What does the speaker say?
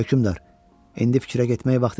Hökümdar, indi fikrə getmək vaxtı deyil.